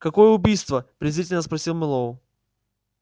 какое убийство презрительно спросил мэллоу